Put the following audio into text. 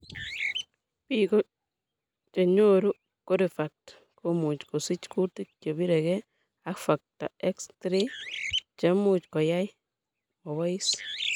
Biko chenyoru corifact komuch kosich kutik che biregee ak Factor XIII che much koyai mobois.